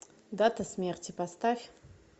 дата смерти поставь